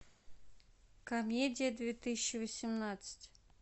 комедия две тысячи восемнадцать